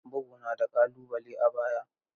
Bugu na da ƙalubale a baya.